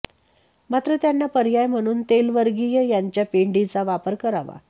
मात्र त्यांना पर्याय म्हणून तेलवर्गीय यांच्या पेंडीचा वापर करावा